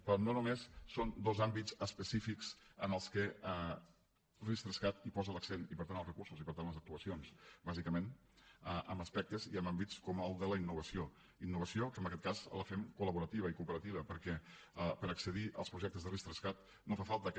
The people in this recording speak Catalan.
però no només són dos àmbits específics en els que ris3cat hi posa l’accent i per tant els recursos i per tant les actuacions bàsicament en aspectes i en àmbits com el de la innovació innovació que en aquest cas la fem col·laborativa i cooperativa perquè per accedir als projectes de ris3cat no fa falta que